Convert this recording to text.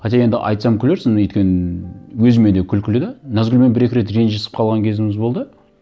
хотя енді айтсам күлерсің өйткені өзіме де күлкілі де назгүлмен бір екі рет ренжісіп қалған кезіміз болды